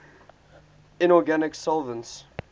inorganic solvents